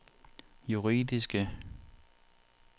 juridiske